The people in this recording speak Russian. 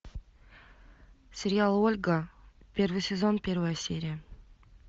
сериал ольга первый сезон первая серия